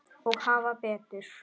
Og hafa betur.